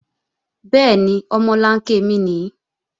Bẹ́ẹ̀ni, omolanke mi nìí